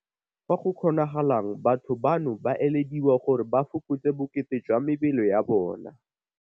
Fa go kgonagalang batho bano ba elediwa gore ba fokotse bokete jwa mebele ya bona.